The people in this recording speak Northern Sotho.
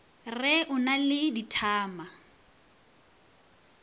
re o na le dithama